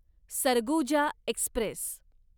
Surguja Express